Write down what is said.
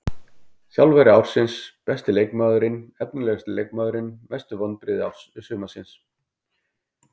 Þjálfari ársins Besti leikmaðurinn Efnilegasti leikmaðurinn Mestu vonbrigði sumarsins?